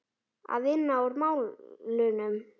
Að vinna úr málunum?